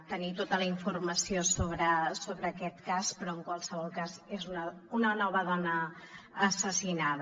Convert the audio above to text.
tenir tota la informació sobre aquest cas però en qualsevol cas és una nova dona assassinada